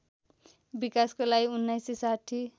विकासको लागि १९६०